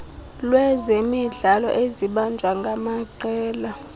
lwezemidlalo ezibanjwa ngamaqela